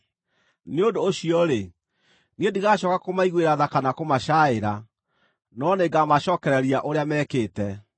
Nĩ ũndũ ũcio-rĩ, Niĩ ndigacooka kũmaiguĩra tha kana kũmacaaĩra, no nĩngamacookereria ũrĩa mekĩte.”